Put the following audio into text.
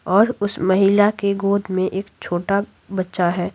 और उस महिला के गोद में एक छोटा बच्चा है।